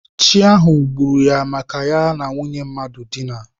Chi ahụ gburu ya maka na ya na nwunye mmadụ dina.